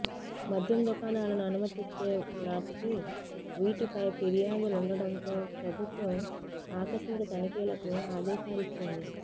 మద్యం దుకాణాలను అనుమతిచ్చే నాటికి వీటిపై ఫిర్యాదులుండటంతో ప్రభుత్వం ఆకస్మిక తనిఖీలకు ఆదేశాలిచ్చింది